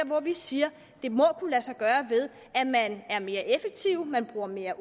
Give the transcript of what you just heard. hvor vi siger det må kunne lade sig gøre ved at man er mere effektiv man bruger mere